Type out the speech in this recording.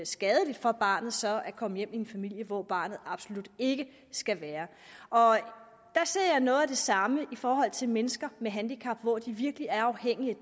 skadeligt for barnet så at komme hjem til en familie hvor barnet absolut ikke skal være der ser jeg noget af det samme i forhold til mennesker med handicap hvor de virkelig er afhængige af